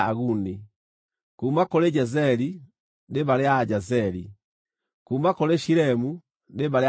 kuuma kũrĩ Jezeri, nĩ mbarĩ ya Ajezeri; kuuma kũrĩ Shilemu, nĩ mbarĩ ya Ashilemu.